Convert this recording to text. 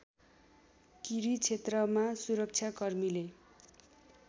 किरी क्षेत्रमा सुरक्षाकर्मीले